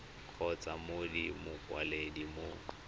kgotsa mo go mokwaledi mo